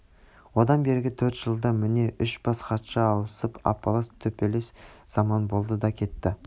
одан бергі төрт жылда міне үш бас хатшы ауысып апалас-төпелес заман болды да кетті